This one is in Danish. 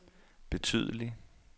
betydelig